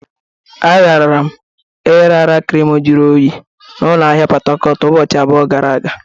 Agara m ịrara krimu jụrụ oyi na ụlọ ahịa Pot Tarcot ụbọchị abụọ gara aga.